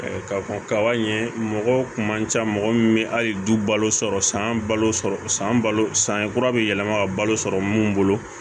Ka fɔ kaba ye mɔgɔ kun ca mɔgɔ min bɛ hali du balo sɔrɔ san balo sɔrɔ san balo san kura be yɛlɛma ka balo sɔrɔ mun bolo